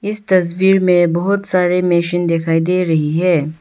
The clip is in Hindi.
इस तस्वीर में बहोत सारे मशीन दिखाई दे रही है।